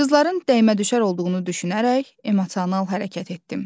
Qızların dəymə-düşər olduğunu düşünərək emosional hərəkət etdim.